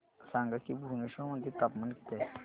सांगा की भुवनेश्वर मध्ये तापमान किती आहे